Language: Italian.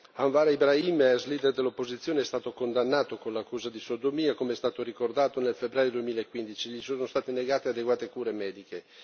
Anwar Ibrahim, ex leader dell'opposizione, è stato condannato con l'accusa di sodomia, come è stato ricordato nel febbraio 2015, e gli sono state negate adeguate cure mediche.